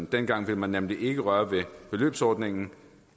dengang ville man nemlig ikke røre ved beløbsordningen